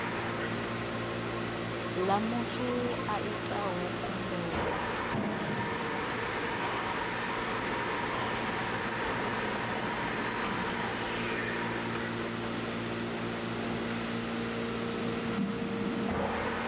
ḽa muthu a itaho khumbelo